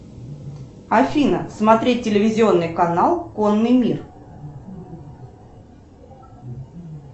афина смотреть телевизионный канал конный мир